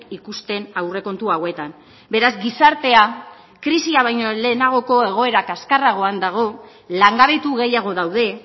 ikusten aurrekontu hauetan beraz gizartea krisia baino lehenagoko egoera kaskarragoan dago langabetu gehiago daude